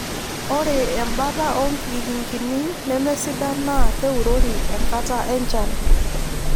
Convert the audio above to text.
Ore embata oonkikingini nemesidan naa keurori enkata enchan